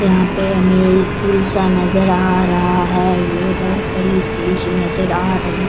यहाँ पे हमे एक स्कूल सा नजर आ रहा है ये बहुत बड़ी स्कूल सी नजर आ रही।